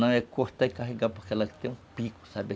Não é cortar e carregar porque ela tem um pico, sabe?